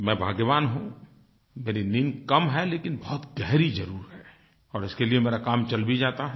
मैं भाग्यवान हूँ मेरी नींद कम है लेकिन बहुत गहरी ज़रूर है और इसके लिए मेरा काम चल भी जाता है